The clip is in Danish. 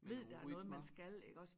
Ved der er noget man skal iggås